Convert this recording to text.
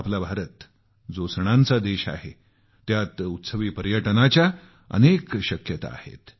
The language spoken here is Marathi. आमचा भारत जो सणांचा देश आहे त्यात उत्सवी पर्यटनाच्या अफाट शक्यता आहेत